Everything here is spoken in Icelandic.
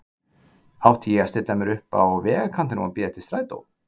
Átti ég að stilla mér upp á vegarkantinum og bíða eftir strætó?